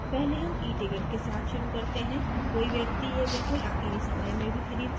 पहले हम eticket के साथ शुरू करते हैं कोई व्यक्ति यह बिलकुल आखिरी समय में भी खरीद सकता है